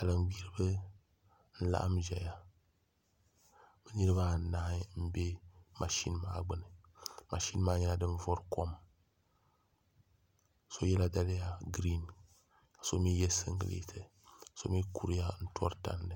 Salin gbiribi n laɣam ʒɛya bi nirabaanahi n bɛ mashin maa gbuni mashin maa nyɛla din vori kom so yɛla daliya giriin ka so mii yɛ singirɛti ka so mii kuriya tori tandi